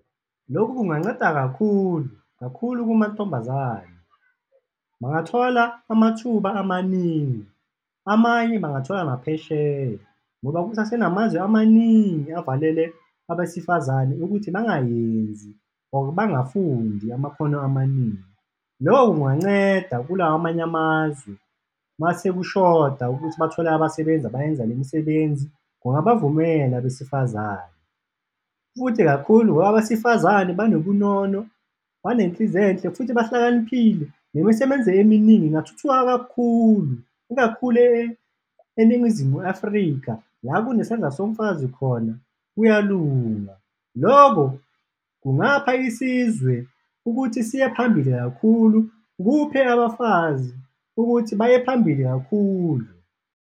Lokhu kunganceda kakhulu, kakhulu kumantombazane, bangathola amathuba amaningi, amanye bangathola naphesheya ngoba kusasenamazwe amaningi avalele abesifazane ukuthi bangayenzi or bangafundi amakhono amaningi, loko kunganceda kulawa amanye amazwe mase kushoda ukuthi bathole abasebenzi abayenza lemisebenzi, kungabavumela abesifazane. Futhi kakhulu ngoba abesifazane banobunono, banenhliziyo enhle futhi bahlakaniphile, nemisebenzi eminingi ingathuthuka kakhulu, ikakhulu eNingizimu Afrika, la kune sandla somfazi khona kuyalunga, loko kungapha isizwe ukuthi siye phambili kakhulu, kuphe abafazi ukuthi baye phambili kakhulu.